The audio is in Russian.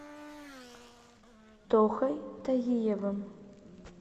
тохой тагиевым